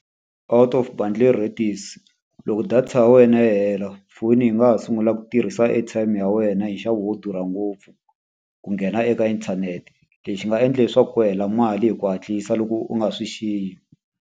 Out of bundle rates. Loko data ya wena yi hela foni hi nga ha sungula ku tirhisa airtime ya wena hi nxavo wo durha ngopfu ku nghena eka inthanete. Leswi nga endla leswaku ku hela mali hi ku hatlisa loko u nga swi xiyi.